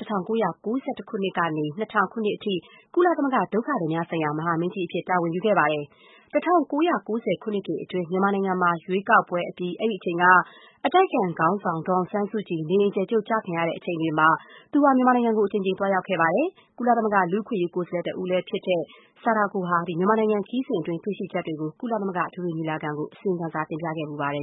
ယ်။ ၁၉၉၁ ခုနှစ်ကနေ ၂၀၀၀ ခုနှစ်အထိ ကုလသမဂ္ဂ ဒုက္ခသည်များဆိုင်ရာ မဟာမင်းကြီးအဖြစ် တာဝန်ယူခဲ့ပါတယ်။ ၁၉၉၀ ပြည့်နှစ်တွေအတွင်း မြန်မာနိုင်ငံမှာ ရွေးကောက်ပွဲပြီး အဲဒီအချိန်က အတိုက်ခံခေါင်းဆောင် ဒေါ်အောင်ဆန်းစုကြည် နေအိမ်အကျယ်ချုပ် ကျခံခဲ့ရတဲ့အချိန်တွေမှာ ဆာဒါကို အိုဂါတာ ဟာ မြန်မာနိုင်ငံကို အကြိမ်ကြိမ် သွားရောက်ခဲ့ပါတယ်။ ကုလသမဂ္ဂ လူ့အခွင့်အရေး ကိုယ်စားလှယ် တဦးလည်းဖြစ်ခဲ့တဲ့ ဆာဒါကို ဟာ မြန်မာနိုင်ငံခရီးစဉ်အတွင်း တွေ့ရှိချက်တွေကိုလည်း ကုလသမဂ္ဂအထွေထွေညီလာခံကို အစီရင်ခံစာ တင်ပြခဲ့ဖူးပါတယ်